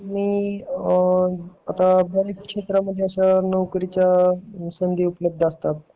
तुम्ही बऱ्याच शेत्रामध्ये अशा नोकरीच्या संधी उपलब्ध असतात